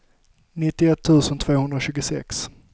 nittioett tusen tvåhundratjugosex